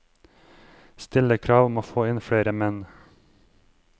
Stille krav om å få inn flere menn.